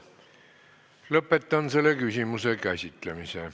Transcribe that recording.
Lõpetan selle küsimuse käsitlemise.